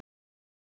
Jörfalind